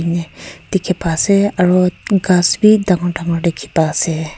dekhi pai se aru gass bhi dagur dagur dekhi paise.